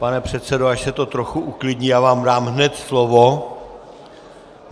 Pane předsedo, až se to trochu uklidní, já vám dám hned slovo.